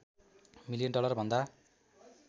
million dollar भन्दा